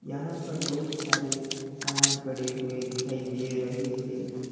यहां पर बहुत सारे सामान पड़े हुए दिखाई दे रहे हैं।